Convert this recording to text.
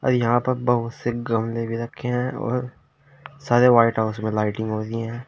यहां पर बहुत से गमले भी रखे हैं और सारे व्हाइट हाउस में लाइटिंग हो रही हैं।